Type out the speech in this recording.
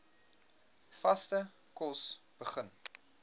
vaste kos begin